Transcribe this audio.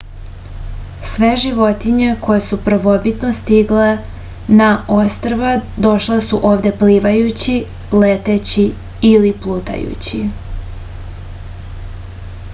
sve životinje koje su prvobitno stigle na ostrva došle su ovde plivajući leteći ili plutajući